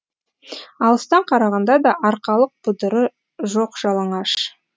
алыстан қарағанда да арқалық бұдыры жоқ жалаңаш